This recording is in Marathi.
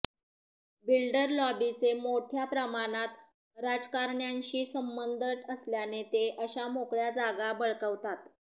बिल्डर लॉबीचे मोठ्या प्रमाणात राजकारण्यांशी संबंध असल्याने ते अशा मोकळ्या जागा बळकावतात